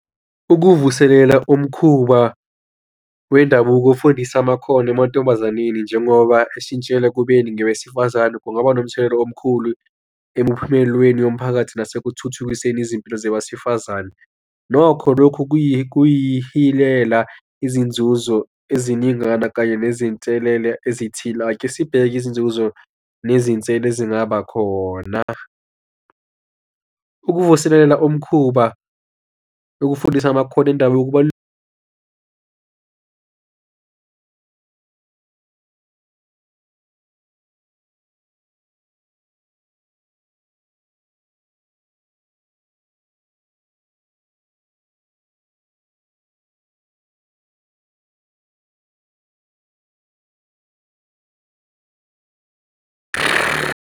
Ukuvuselela umkhuba wendabuko ufundisa amakhono amantombazaneni njengoba ashintshela ekubeni ngowesifazane kungaba nomthelela omkhulu emuphumelweni yomphakathi nasekuthuthukiseni izimpilo zowesifazane. Nokho lokhu kuyihilela izinzuzo eziningana kanye nezinselela ezithile. Ake sibheke izinzuzo nezinselelo ezingaba khona. Ukuvuselela umkhuba nokufundisa amakhono indaba yokuba .